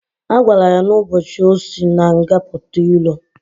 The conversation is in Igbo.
Agwara ya na ụbochi osi na nga puta ilo.